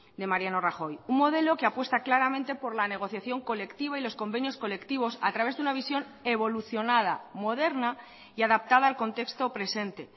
de mariano rajoy un modelo que apuesta claramente por la negociación colectiva y los convenios colectivos a través de una visión evolucionada moderna y adaptada al contexto presente